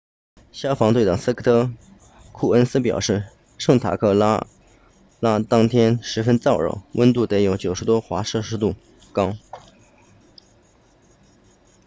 消防队长斯科特库恩斯表示圣塔克拉拉当天十分燥热温度得有90多华氏度高